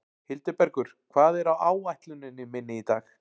Hildibergur, hvað er á áætluninni minni í dag?